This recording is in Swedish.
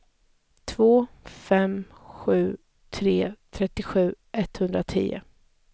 två fem sju tre trettiosju etthundratio